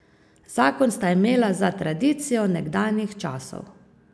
Zakon sta imela za tradicijo nekdanjih časov.